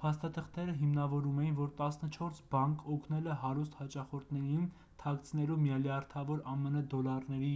փաստաթղթերը հիմնավորում էին որ տասնչորս բանկ օգնել է հարուստ հաճախորդներին թաքցնելու միլիարդավոր ամն դոլարների